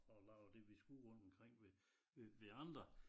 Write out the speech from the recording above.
Og laver det vi skulle rundt omkring ved ved andre